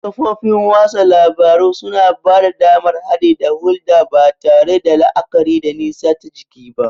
Kafofin watsa labaru suna ba da damar haɗi da hulɗa ba tare da la'akari da nisa ta jiki ba.